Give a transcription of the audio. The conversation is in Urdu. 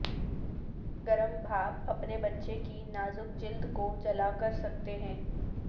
گرم بھاپ اپنے بچے کی نازک جلد کو جلا کر سکتے ہیں